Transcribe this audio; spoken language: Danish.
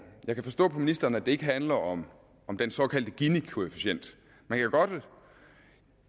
jeg kan forstå på ministeren at det ikke handler om om den såkaldte ginikoefficient man kan godt